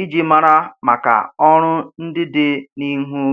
iji mara maka ọrụ ndị dị n'ihu.